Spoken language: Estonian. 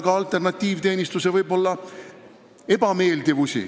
Ka alternatiivteenistuses võib olla palju ebameeldivat.